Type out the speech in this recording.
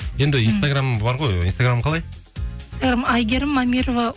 енді инстаграм бар ғой инстаграмың қалай әйгерім мамырова